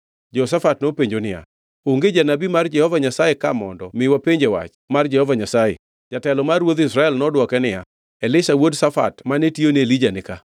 Jehoshafat nopenjo niya, “Onge janabi mar Jehova Nyasaye ka mondo, mi wapenje wach mar Jehova Nyasaye?” Jatelo mar ruodh Israel nodwoke niya, “Elisha wuod Shafat mane tiyone Elija nika.”